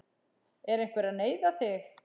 Er einhver að neyða þig?